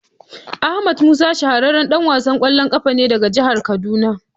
Ahmed Musa shahararren dan wasan kwallon kafa ne daga jihar kaduna.